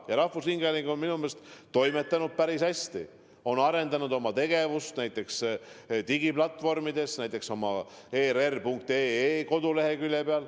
Ja rahvusringhääling on minu meelest toimetanud päris hästi, on arendanud oma tegevust näiteks ka digiplatvormidel, err.ee koduleheküljel.